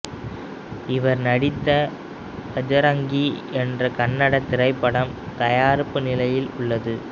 இவர் நடித்த பஜரங்கி என்ற கன்னடத் திரைப்படம் தயாரிப்பு நிலையில் உள்ளது